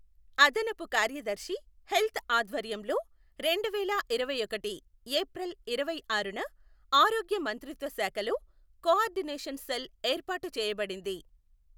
అదనపు కార్యదర్శి హెల్త్ ఆధ్వర్యంలో రెండువేల ఇరవై ఒకటి ఏప్రిల్ ఇరవైఆరున ఆరోగ్య మంత్రిత్వ శాఖలో కొఆర్డినేషన్ సెల్ ఏర్పాటు చేయబడింది.